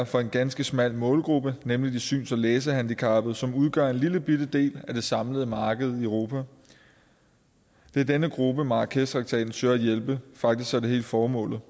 for en ganske smal målgruppe nemlig de syns og læsehandicappede som udgør en lillebitte del af det samlede marked i europa det er denne gruppe marrakeshtraktaten søger at hjælpe faktisk er det hele formålet